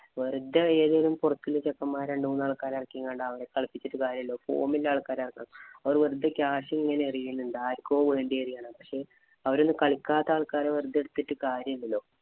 വെറുതെ ഏതേലും പൊറത്ത് നിന്നുള്ള രണ്ടുമൂന്ന് ചെക്കന്മാരെ എറക്കി എങ്ങാണ്ട് കളിപ്പിച്ചിട്ടു കാര്യമില്ല. form ഉള്ള ആള്‍ക്കാരെ ഇറക്കണം. അവര് വെറുതെ catch ഇങ്ങനെ എറിയുന്നുണ്ട്. ആര്ക്കോ വേണ്ടി എറിയ്കയാണ്. പക്ഷേ അവരെയൊന്നും കളിക്കാത്ത ആള്‍ക്കാരെ വെറുതെ എടുത്തിട്ടു കാര്യമില്ലല്ലോ.